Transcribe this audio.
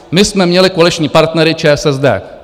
My jsme měli koaliční partnery ČSSD;